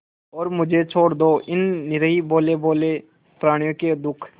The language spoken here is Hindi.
और मुझे छोड़ दो इन निरीह भोलेभाले प्रणियों के दुख